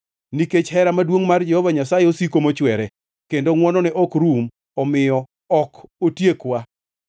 Nikech hera maduongʼ mar Jehova Nyasaye osiko mochwere, kendo ngʼwonone ok rum omiyo ok otiekwa.